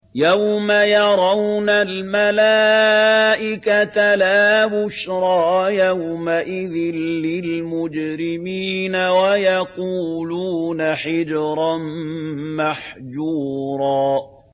يَوْمَ يَرَوْنَ الْمَلَائِكَةَ لَا بُشْرَىٰ يَوْمَئِذٍ لِّلْمُجْرِمِينَ وَيَقُولُونَ حِجْرًا مَّحْجُورًا